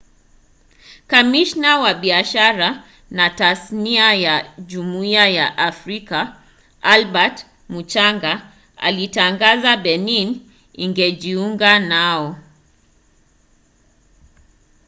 kamishna wa biashara na tasnia ya jumuiya ya afrika albert muchanga alitangaza benin ingejiunga nao